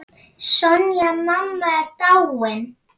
Sonja mamma er dáinn.